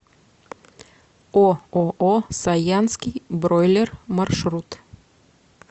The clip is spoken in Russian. ооо саянский бройлер маршрут